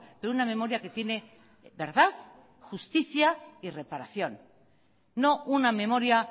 de una memoria que tiene verdad justicia y reparación no una memoria